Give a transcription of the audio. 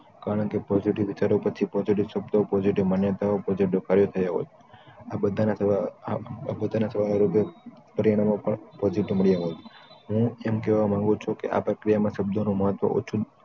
કારણ કે positive વિચારો પછી positive શબ્દો positive માન્યતાઓ positive કાર્યો થયા હોય. આ બધા ના થયા પોતાના સવાલો ના લીધે પ્રેરણા માં પણ positive મળ્યા હોત હું એમ કહેવા માંગુ છું કે ક્રિયામાં શબ્દોનું મહત્વ ઓછું